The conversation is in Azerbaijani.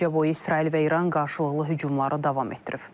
Gecə boyu İsrail və İran qarşılıqlı hücumları davam etdirib.